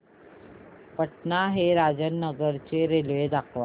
पटणा ते राजेंद्र नगर रेल्वे दाखवा